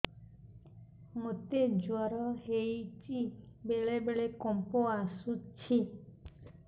ମୋତେ ଜ୍ୱର ହେଇଚି ବେଳେ ବେଳେ କମ୍ପ ଆସୁଛି